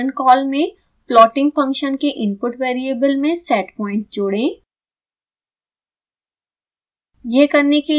इसके function call में plotting function के इनपुट वेरिएबल में setpoint जोड़ें